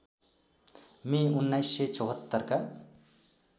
मे १९७४ का